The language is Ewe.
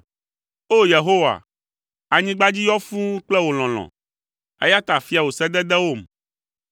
O! Yehowa, anyigba dzi yɔ fũu kple wò lɔlɔ̃, eya ta fia wò sededewom.